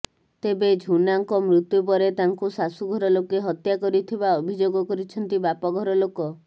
ତେବେ ଝୁନାଙ୍କ ମୃତ୍ୟୁ ପରେ ତାଙ୍କୁ ଶାଶୁଘର ଲୋକେ ହତ୍ୟା କରିଥିବା ଅଭିଯୋଗ କରିଛନ୍ତି ବାପଘର ଲୋକ